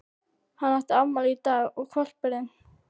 Hann átti afmæli í dag og hvolpurinn